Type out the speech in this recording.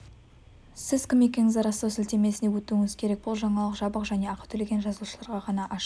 сіз кім екендігіңізді растау сілтемесіне өтуіңіз керек бұл жаңалық жабық және ақы төлеген жазылушыларға ғана ашық